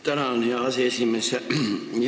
Tänan, hea aseesimees!